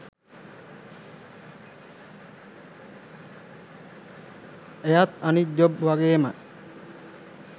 එයත් අනිත් ජොබ් වගේම